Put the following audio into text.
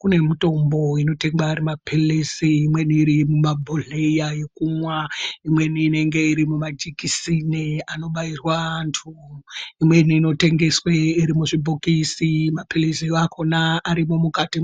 kune mutombo inotengeswe ari mapilizi imweni iri mumabholeya ekumwa ,imweni inenge iri mumajekiseni anobairwa antu, imweni inotengeswe iri muzvibhokisi mapilizi akona arimwo mukatimwo.